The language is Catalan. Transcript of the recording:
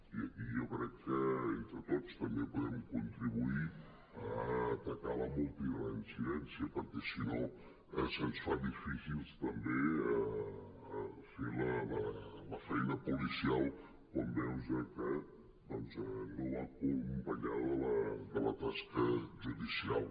i aquí jo crec que entre tots també podem contri·buir a atacar la multireincidència perquè si no se’ns fa difícil també fer la feina po·licial quan veus que doncs no va acompanyada de la tasca judicial